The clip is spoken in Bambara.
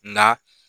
Nka